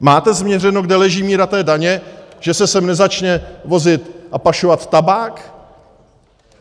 Máte změřeno, kde leží míra té daně, že se sem nezačne vozit a pašovat tabák?